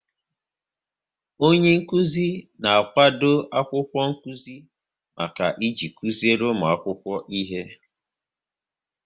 Onyenkụzi na-akwado akwụkwọ nkụzi maka iji kụziri ụmụ akwụkwọ ihe